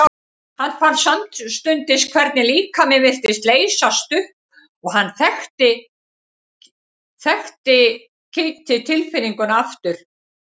Hann fann samstundis hvernig líkaminn virtist leysast upp og hann þekkti kitl tilfinninguna aftur.